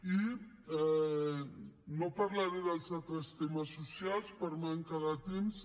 i no parlaré dels altres temes socials per manca de temps